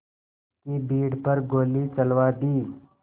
की भीड़ पर गोली चलवा दी